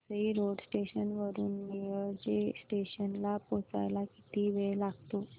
Vasai road station वरून Nilje station ला पोहचायला किती वेळ लागतो